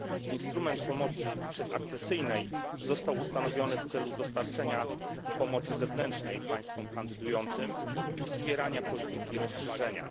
Instrument pomocy przedakcesyjnej został ustanowiony w celu dostarczenia pomocy zewnętrznej państwom kandydującym i wspierania polityki rozszerzenia.